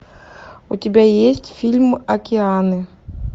у тебя есть фильм океаны